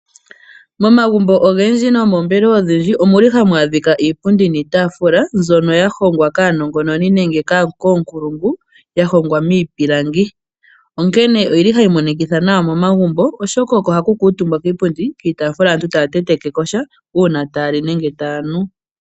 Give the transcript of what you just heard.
Momagumbo ogendji noomeembelewa odhindji omuli hamu adhika iipundi niitaafula mbyoka ya hongwa kaanongononi nenge koonkulungu ya hongwa miipilangi, onkene oyili hayi monikitha nawa momagumbo, oshoka oko haku kuutumbwa kiipundi, kiitaafula aantu taya tenteke ko sha uuna taya li sha nenge taya nu.